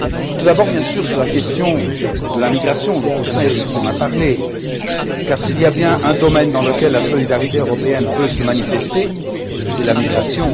Tout d'abord, bien sûr, sur la question de l'immigration le Conseil en a parlé car s'il y a bien un domaine dans lequel la solidarité européenne peut se manifester, c'est l'immigration.